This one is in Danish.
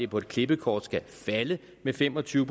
på et klippekort skulle falde med fem og tyve